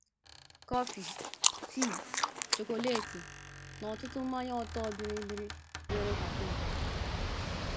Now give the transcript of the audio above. Kọfị, tii, chokoleti, na ọtụtụ mmanya ọtọ bịrịbịrị nwere kafịn.